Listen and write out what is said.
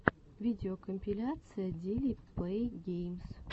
видеокомпиляция дили плэй геймс